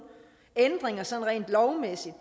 ændringer sådan rent lovmæssigt